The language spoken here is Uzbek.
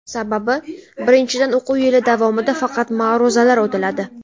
Sababi, birinchidan, o‘quv yili davomida faqat ma’ruzalar o‘tiladi.